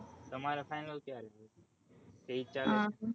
તમારે final ક્યારે છે